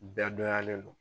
Bɛɛ donyalen do.